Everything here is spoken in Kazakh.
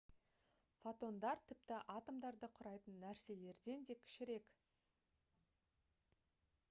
фотондар тіпті атомдарды құрайтын нәрселерден да кішірек